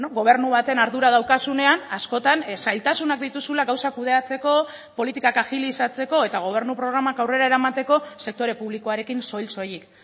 gobernu baten ardura daukazunean askotan zailtasunak dituzula gauzak kudeatzeko politikak agilizatzeko eta gobernu programak aurrera eramateko sektore publikoarekin soil soilik